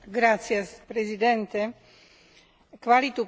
Kvalitu pitnej vody nemožno brať na ľahkú váhu.